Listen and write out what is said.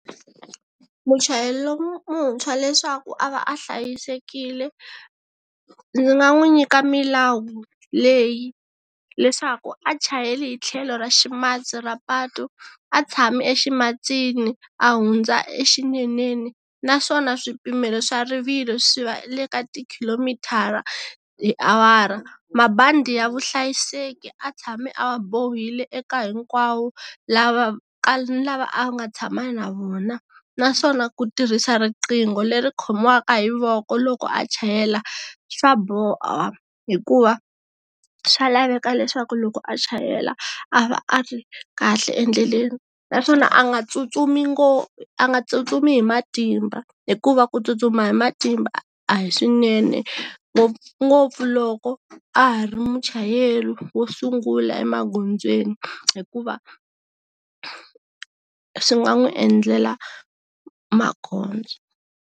Muchayeri lon'wuntshwa leswaku a va a hlayisekile, ndzi nga n'wi nyika milawu leyi. Leswaku a chayeli hi tlhelo ra ximatsi ra patu, a tshami e ximatsini, a hundza exineneni, naswona swipimelo swa rivilo swi va le ka ti khilomithara hi awara. Mabandi ya vuhlayiseki a tshame a wa bohile eka hinkwavo, lava ni lava a nga tshama na vona. Naswona ku tirhisa riqingho leri khomiwaka hi voko loko a chayela, swa hikuva swa laveka leswaku loko a chayela, a va a ri kahle endleleni. Naswona a nga tsutsumi a nga tsutsumi hi matimba, hikuva ku tsutsuma hi matimba, a hi swinene. Ngopfungopfu loko, a ha ri muchayeri wo sungula emagondzweni, hikuva swi nga n'wi endlela makhombo.